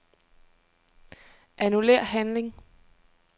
Annullér handling.